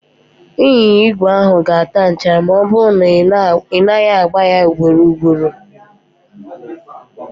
Ịnyịnya igwe a ga-ata nchara ma ọ bụrụ na ị naghị agba ya ugboro ugboro